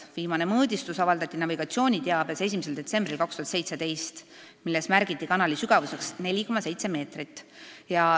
Viimane mõõdistus avaldati navigatsiooniteabes 1. detsembril 2017 ja siis märgiti kanali sügavuseks 4,7 meetrit.